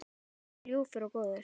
Alltaf svo ljúfur og góður.